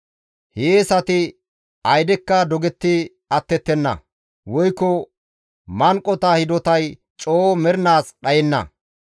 Hiyeesati aydekka dogetti attettenna; woykko manqota hidotay coo mernaas dhayenna.